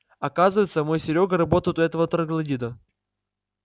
оказывается мой серёга работает у этого троглодита